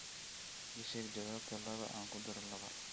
ii sheeg jawaabta laba aan ku daro laba